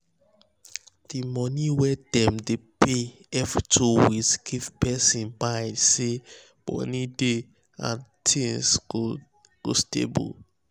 d money wey dem um dey pay every two weeks give um person mind say money dey and things go stable um